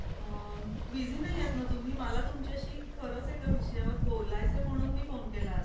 अ busy नाहीयेत ना तुम्ही मला तुमच्याशी खरंच एका विषयावर बोलायचं आहे म्हणून मी phone केलाय.